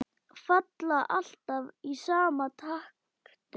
Falla alltaf í sama takti.